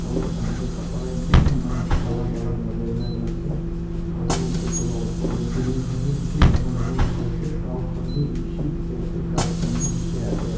etu ton tu kapra itana bhan alag alag lagai kini jai ase aru etu laga upor te building khan bhi bise dagur dekhi ase cloud khan bhi dekhi ase gass khan bhi dekhi ase.